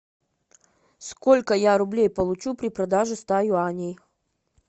сколько я рублей получу при продаже ста юаней